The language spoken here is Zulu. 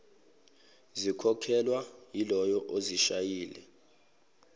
zikhokhelwa yilowo ozishayile